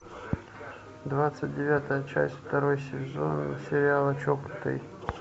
двадцать девятая часть второй сезон сериала чокнутый